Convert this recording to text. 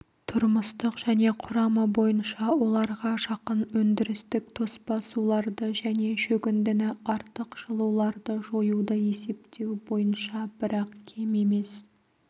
тұрмыстық және құрамы бойынша оларға жақын өндірістік тоспа суларды және шөгіндіні артық жылуларды жоюды есептеу бойынша бірақ кем емес